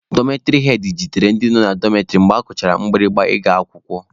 Dọmetịrị hed jidere ndị nọ na dọmetịrị mgbe akụchara mgbirimgba ị ga-akwụkwọ.